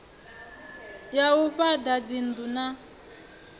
ya u fhaḓa dzinnḓu na